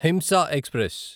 హింస ఎక్స్ప్రెస్